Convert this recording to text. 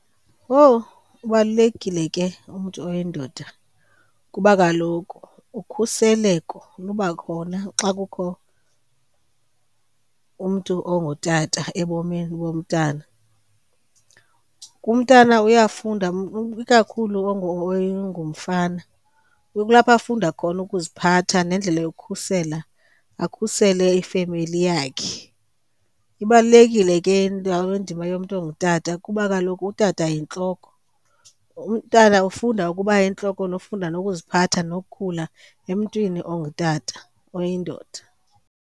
Owu, ubalulekile ke umntu oyindoda kuba kaloku ukhuseleko luba khona xa kukho umntu ongutata ebomini bomntana. Umntana uyafunda ikakhulu ongumfana. Kulapha afunda khona ukuziphatha nendlela yokukhusela, akhusele ifemeli yakhe. Ibalulekile ke indima yomntu ongutata kuba kaloku utata yintloko, umntana ufunda ukuba yintloko, ufunda nokuziphatha nokhula emntwini ongutata, oyindoda.